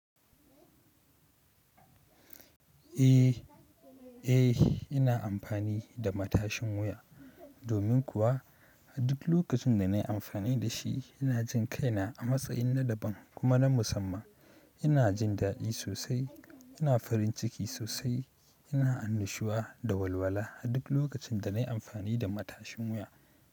Eh, eh ina amfani da matashin wuya. Domin kuwa a duk lokacin da na yi amfani da shi ina jin kaina a matsayin na daban kuma na musamman. Ina jin dadi sosai, ina farinciki sosai, ina annashuwa da walwala a duk lokacin da nayi amfani da matashin wuya.